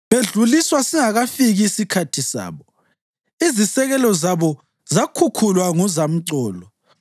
Bedluliswa singakafiki isikhathi sabo, izisekelo zabo zakhukhulwa nguzamcolo.